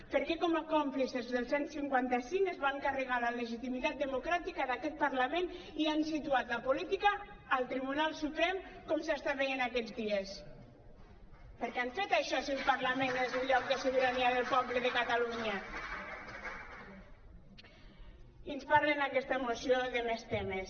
per què com a còmplices del cent i cinquanta cinc es van carregar la legitimitat democràtica d’aquest parlament i han situat la política al tribunal suprem com s’està veient aquests dies per què han fet això si el parlament és el lloc de sobirania del poble de catalunya i ens parlen en aquesta moció de més temes